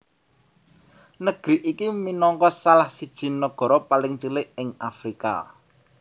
Negri iki minangka salah siji nagara paling cilik ing Afrika